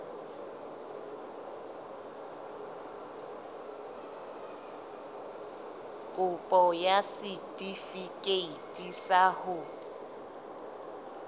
kopo ya setefikeiti sa ho